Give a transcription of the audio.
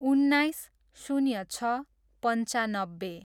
उन्नाइस, शून्य छ, पन्चानब्बे